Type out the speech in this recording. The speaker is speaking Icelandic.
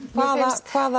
hvaða hvaða